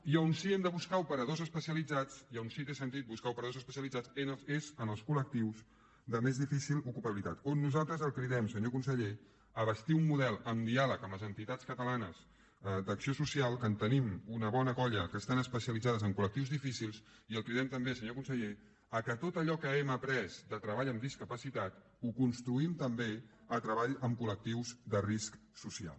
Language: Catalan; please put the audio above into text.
i on sí que hem de buscar operadors especialitzats i on sí que té sentit buscar operadors especialitzats és en els col·lectius de més difícil ocupabilitat on nosaltres el cridem senyor conseller a bastir un model amb diàleg amb les entitats catalanes d’acció social que en tenim una bona colla que estan especialitzades en col·ller perquè tot allò que hem après de treball en discapacitat ho construïm també en treball amb col·lectius de risc social